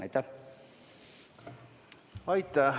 Aitäh!